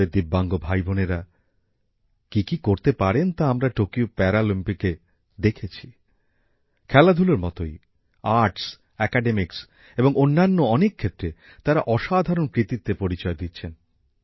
আমাদের দিব্যাঙ্গ ভাইবোনেরা কি কি করতে পারেন তা আমরা টোকিও প্যারাঅলিম্পিকে দেখেছি খেলাধুলোর মতই আর্টস একাডেমিকস এবং অন্যান্য অনেক ক্ষেত্রে তারা অসাধারণ কৃতিত্বের পরিচয় দিচ্ছেন